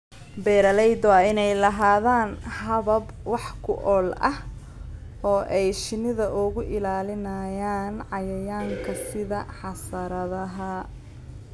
Beeralayda waa inay lahaadaan habab wax ku ool ah oo ay shinnida uga ilaalinayaan cayayaanka sida xasaradaha.